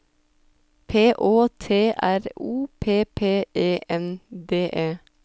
P Å T R O P P E N D E